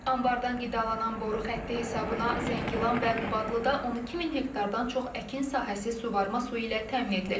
Anbardan qidalanan boru xətti hesabına Zəngilan və Qubadlıda 12 min hektardan çox əkin sahəsi suvarma suyu ilə təmin ediləcək.